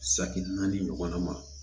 Saki naani ɲɔgɔnna ma